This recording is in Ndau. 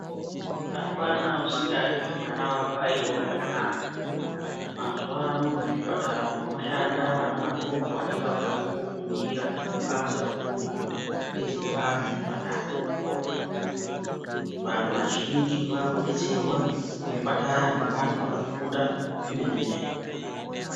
Apana usikadi kuti mwana wakwe aitewo zvakanaka . Mazuwa ano muzvipatara umwo mwoshanda anaadoko anenge akabva kofundira basa rekudetsera antu muzvipatara . Vantu vazhinji vavekudetserwa muzvipatara ngeantu akafunda zvemene mene